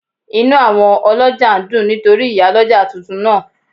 Inú àwọn ọlọ́jà ń dùn nítorí Ìyálọ́jà tuntun náà